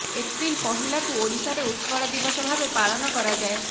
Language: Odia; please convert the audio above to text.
ଏପ୍ରିଲ ପହିଲାକୁ ଓଡିଶାରେ ଉତ୍କଳ ଦିବସ ଭାବେ ପାଳନ କରାଯାଏ